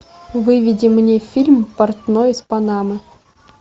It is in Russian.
выведи мне фильм портной из панамы